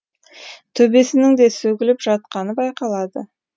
төбесінің де сөгіліп жатқаны байқалады